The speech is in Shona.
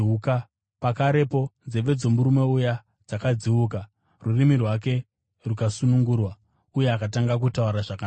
Pakarepo, nzeve dzomurume uya dzakadziuka, rurimi rwake rukasunungurwa uye akatanga kutaura zvakanaka.